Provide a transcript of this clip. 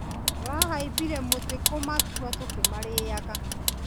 Tũrahaimbire mũtĩ kũmatua tũkĩmarĩaga.